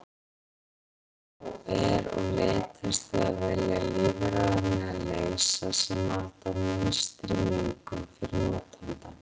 Þá er og leitast við að velja lífræna leysa sem valda minnstri mengun fyrir notandann.